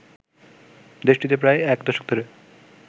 দেশটিতে প্রায় এক দশক ধরে